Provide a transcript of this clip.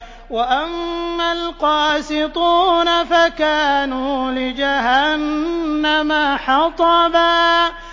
وَأَمَّا الْقَاسِطُونَ فَكَانُوا لِجَهَنَّمَ حَطَبًا